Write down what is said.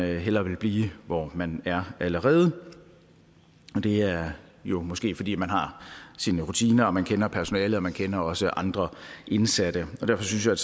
hellere vil blive hvor man er allerede det er jo måske fordi man har sine rutiner man kender personalet og man kender også andre indsatte derfor synes jeg